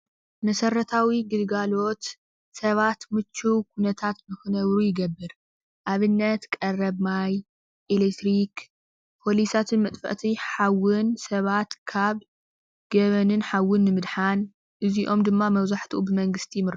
መሰረታዊ ገልጋሎት ሰባት ምችው ኩነታት ንክነብሩ ይገብር። ንኣብነት፦ ቀረብ ማይ፣ ኤሌክትሪክ ፖሊሳትን መጥፋእቲ ሓዊ ሰባት ካብ ገበንን ሓውን ንምድሓን፤ እዚኦም ድማ መብዛሕቲኦም ብመንግስቲ ይምርሑ።